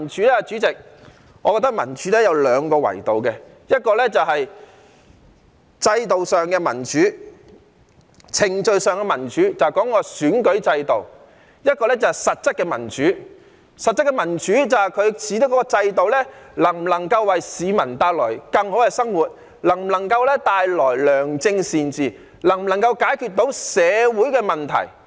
代理主席，我覺得民主有兩個維度，一個是制度上、程序上的民主，這就是選舉制度；另一個是實質的民主，指制度能否為市民帶來更好的生活，能否帶來良政善治，能否解決社會問題。